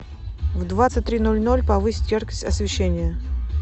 в двадцать три ноль ноль повысить яркость освещения